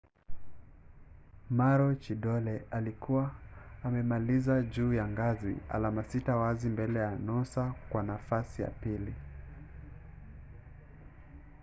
maroochidore ilikuwa imemaliza juu ya ngazi alama sita wazi mbele ya noosa kwa nafasi ya pili